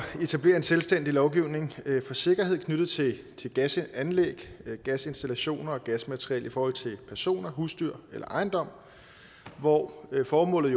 etablere en selvstændig lovgivning for sikkerhed knyttet til til gasanlæg gasinstallationer og gasmateriel i forhold til personer husdyr eller ejendom hvor formålet